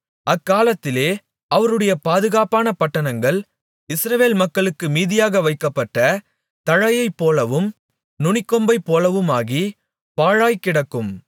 அக்காலத்திலே அவர்களுடைய பாதுகாப்பான பட்டணங்கள் இஸ்ரவேல் மக்களுக்கு மீதியாக வைக்கப்பட்ட தழையைப்போலவும் நுனிக்கொம்பைப்போலவுமாகி பாழாய்க்கிடக்கும்